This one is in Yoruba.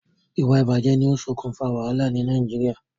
Ìwà ìbàjé ni o sokùn fa wàhálà ni Naijiria